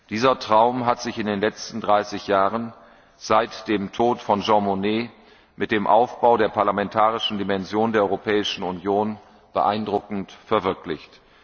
Dieser Traum hat sich in den letzten dreißig Jahren seit dem Tod von Jean Monnet mit dem Aufbau der parlamentarischen Dimension der Europäischen Union beeindruckend verwirklicht.